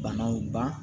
Banaw ban